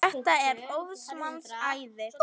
Þetta er óðs manns æði!